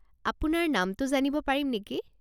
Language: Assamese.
আপোনাৰ নামটো জানিব পাৰিম নেকি?